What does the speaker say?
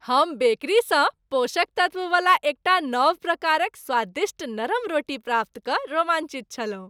हम बेकरीसँ पोषक तत्ववला एकटा नव प्रकारक स्वादिष्ट नरम रोटी प्राप्त कऽ रोमांचित छलहुँ।